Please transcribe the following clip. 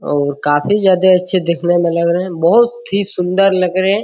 और काफी ज्यादे अच्छे देखने में लग रहे है बहुत ही सुन्दर लग रहे है।